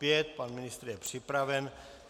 Pan ministr je připraven.